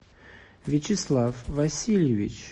вячеслав васильевич